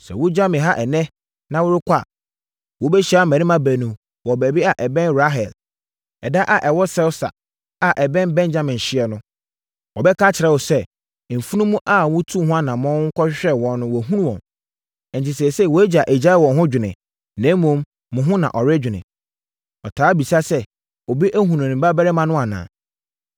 Sɛ wogya me ha ɛnnɛ na worekɔ a, wobɛhyia mmarima baanu wɔ baabi a ɛbɛn Rahel ɛda a ɛwɔ Selsa a ɛbɛn Benyamin hyeɛ no. Wɔbɛka akyerɛ wo sɛ, ‘Mfunumu a motuu ho anammɔn kɔhwehwɛɛ wɔn no, wɔahu wɔn. Enti, seesei, wʼagya agyae wɔn ho dwene, na mmom, mo ho na ɔredwene. Ɔtaa bisa sɛ, “Obi ahunu me babarima no anaa?” ’